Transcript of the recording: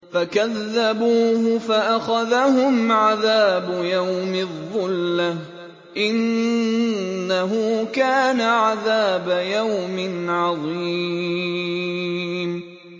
فَكَذَّبُوهُ فَأَخَذَهُمْ عَذَابُ يَوْمِ الظُّلَّةِ ۚ إِنَّهُ كَانَ عَذَابَ يَوْمٍ عَظِيمٍ